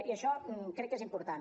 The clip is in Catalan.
i això crec que és important